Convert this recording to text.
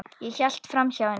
Ég hélt framhjá henni.